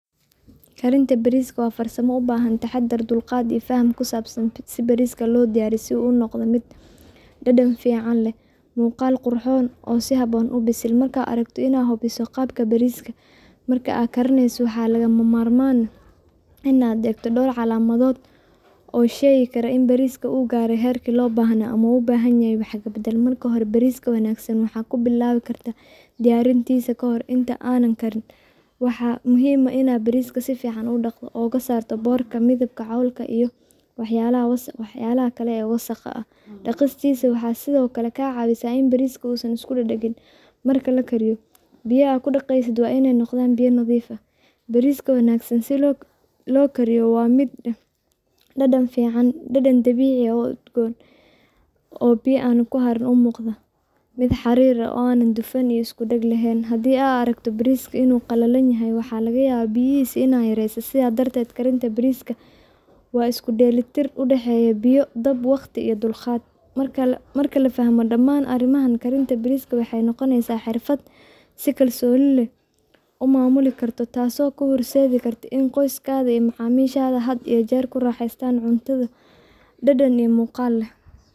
Karinta bariska wa farsama u bahan taxadar dulqat fahan aa kusabsan sitha bariska lobdiyariyoh, si oo u noqdih mid dadan fican leeh muqal qurxion oo sufacan xasil marka aragto intaa mise qaabka bariska marka aa karineysoh waxlaga marmaan aah Ina egtoh door calemathoot oo sheegi karah inu bariska oo garay marki lo bahanay amah oo u bahanyahay miyah waxkabadal, marka bariska kawanagsan waxa kubilawi kartah diyarintisa kahoor inta anan Karin, waxa muhim aah Ina bariska sufican u daqtoh oo kasartoh bocorka mithibka waxyalaha wasaqa ah daqis waxa sethokali kacawisah ini bariska oo San iskudagdagin marka lakariyoh biyaha kudaqeysit wa Ina noqdan biya nathifa aah, bariska wanagsan wa mid lokariyoh dadan dabice oo udgoon, oo bira aa kuharin ona muqdoh mid xarir aah oo na iskudagdagin laheen handi aa aragtoh baris inu qalalnyahay waxalagayabah biyahisa ina yareysoh setha darted bariska wa iskudeli tir u daxeeya biya waqdi iyo dulqaat marka la fahmoh dgaman arimaha bariska karinta maraka waxay noqoneysah xerfat si kalsoni umamuli kartoh taasi kahirserhi kartah Ina qoysakatha amah macamishatha kuaraxeysatan cuntada dadan iyo muqal leeh.